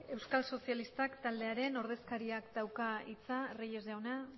euskal sozialistak taldearen ordezkariak dauka hitza reyes jauna